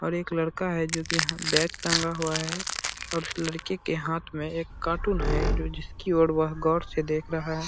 और एक लड़का है जो की यहाँ बैग टाँगा हुआ है और उस लड़की के हाथ मे एक कार्टून है जो जिसकी और वह गौर से देख रहा है |